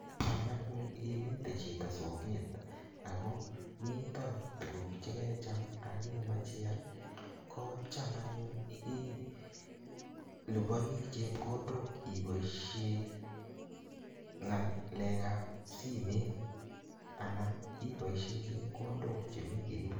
Cham anyun imitei chito soket ako mita tuguk che kecham ako kemach ial ko cham anyun ilipani chepkondok ipoishe ng'alek ap simet anan ipoishe chepkondok che mi keut.